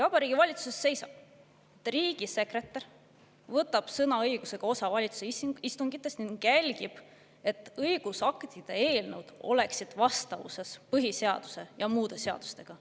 Vabariigi Valitsuse seisab: "Riigisekretär võtab sõnaõigusega osa valitsuse istungitest." ning "Riigisekretär jälgib, et Vabariigi Valitsuse õigusaktide eelnõud oleksid vastavuses põhiseaduse ja muude seadustega.